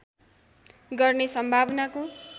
गर्ने सम्भावनाको